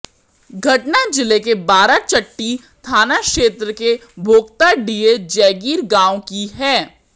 घटना जिले के बाराचट्टी थाना क्षेत्र के भोक्ताडीह जयगीर गांव की है